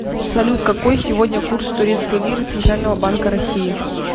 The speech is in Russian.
салют какой сегодня курс турецкой лиры центрального банка россии